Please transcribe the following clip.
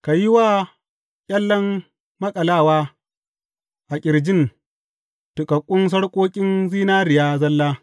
Ka yi wa ƙyallen maƙalawa a ƙirjin tuƙaƙƙun sarƙoƙin zinariya zalla.